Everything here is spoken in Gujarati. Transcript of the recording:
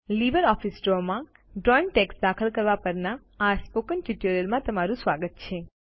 લીબરઓફીસ ડ્રો માં ડ્રોઈંગમાં ટેક્સ્ટ દાખલ કરવા પરના આ સ્પોકન ટ્યુટોરિયલમાં તમારું સ્વાગત છે